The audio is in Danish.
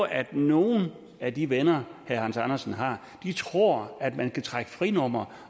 at nogle af de venner herre hans andersen har tror at man kan trække frinummer